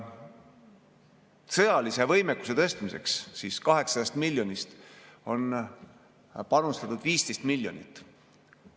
Sõjalise võimekuse tõstmiseks on 800 miljonist panustatud 15 miljonit.